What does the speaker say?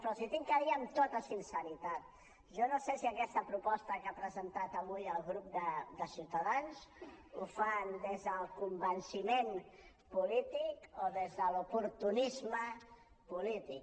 però els ho he de dir amb tota sinceritat jo no sé si aquesta proposta que ha presentat avui el grup de ciutadans la fan des del convenciment polític o des de l’oportunisme polític